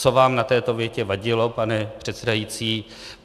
Co vám na této větě vadilo, pane předsedající?